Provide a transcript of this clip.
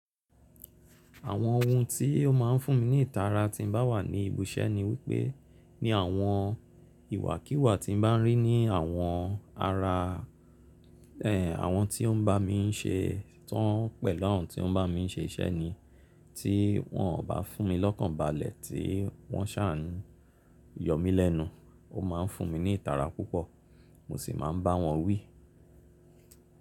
Àwọn ohun tí ó máa ń fún mi ní ìtara tí n bá wà ní ibi iṣẹ́ ni wípé, ní àwọn ìwà kíwà tí n bá ń rí ní àwọn ara, ẹ, àwọn tí ó ń bá mi ń ṣe tán pẹ̀lú àwọn tí ó ń bá mi ṣe iṣẹ́ ni tí wọn ò bá fún mi lọ́kàn balẹ̀, tí wọ́n ṣáà ń yọ mí lẹ́nu, ó máa ń fún mi ní ìtara púpọ̀, mo ṣì máa ń bá wọn wí.